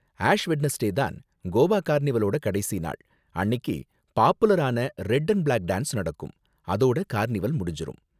Ash Wednesday தான் கோவா கார்னிவலோட கடைசி நாள், அன்னிக்கு பாப்புலரான ரெட் அண்ட் பிளாக் டான்ஸ் நடக்கும். அதோட கார்னிவல் முடிஞ்சுரும்.